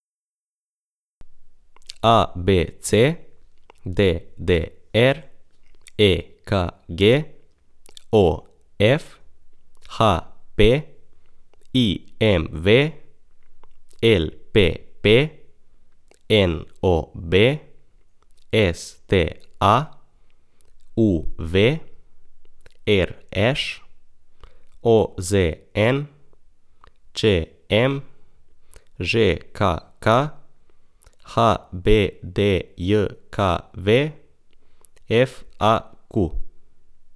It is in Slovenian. A B C; D D R; E K G; O F; H P; I M V; L P P; N O B; S T A; U V; R Š; O Z N; Č M; Ž K K; H B D J K V; F A Q.